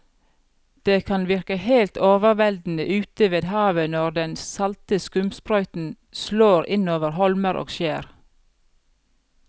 Det kan virke helt overveldende ute ved havet når den salte skumsprøyten slår innover holmer og skjær.